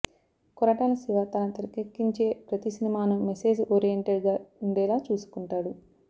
కొరటాల శివ తన తెరకెక్కించే ప్రతి సినిమాను మెసేజ్ ఓరియెంటెడ్ గా ఉండేలా చూసుకుంటాడు